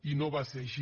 i no va ser així